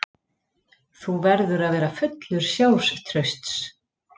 Þú verður að vera fullur sjálfstrausts.